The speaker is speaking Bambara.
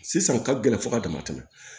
Sisan ka gɛlɛn fo ka dama tɛmɛ